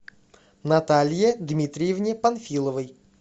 наталье дмитриевне панфиловой